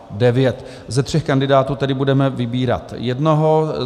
Ze tří kandidátů tedy budeme vybírat jednoho.